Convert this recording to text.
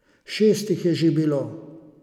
Šest jih je že bilo.